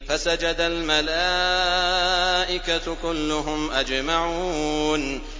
فَسَجَدَ الْمَلَائِكَةُ كُلُّهُمْ أَجْمَعُونَ